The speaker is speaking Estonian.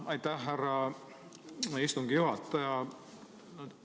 Aitäh, härra istungi juhataja!